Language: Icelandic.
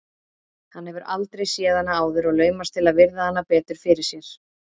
Hann hefur aldrei séð hana áður og laumast til að virða hana betur fyrir sér.